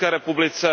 v České republice.